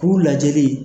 K'u lajɛli